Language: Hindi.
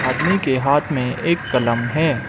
आदमी के हाथ में एक कलम है।